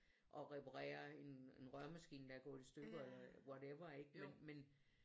Og reparerer en røremaskine der er gået i stykker eller whatever ikke men